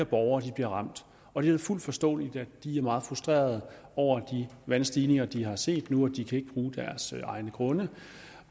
borgere bliver ramt og det er fuldt forståeligt at de er meget frustrerede over de vandstigninger de har set nu de kan ikke bruge deres egne grunde